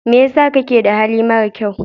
Me yasa kake da hali marakyau.